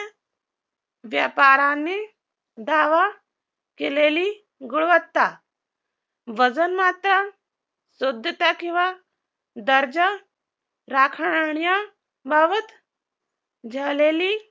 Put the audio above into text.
व्यापाराने दावा केलेली गुणवत्ता वजनमात्र, शुद्धता किंवा दर्जा राखण्याबाबत झालेली